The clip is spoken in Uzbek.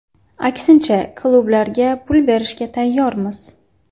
Aksincha, klublarga pul berishga tayyormiz.